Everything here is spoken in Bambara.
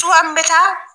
Cogoya min bɛ taa